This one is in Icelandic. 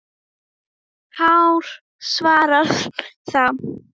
Hár svarar þá